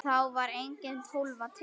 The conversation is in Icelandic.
Þá var engin Tólfa til!